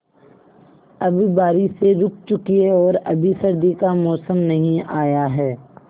अब बारिशें रुक चुकी हैं और अभी सर्दी का मौसम नहीं आया है